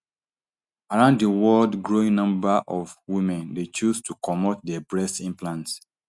around di world growing number of women dey choose to comot dia breast implants